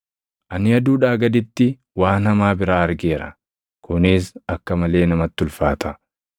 Ani aduudhaa gaditti waan hamaa biraa argeera; kunis akka malee namatti ulfaata: